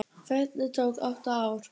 Ferlið tók átta ár.